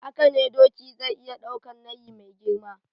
Hakane doki zai iya daukan nayi mai girma